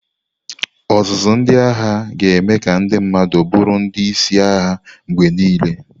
Ọzụzụ ndị agha ga-eme ka ndị mmadụ bụrụ ndị isi agha mgbe niile.